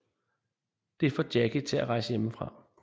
Det får Jakie til at rejse hjemmefra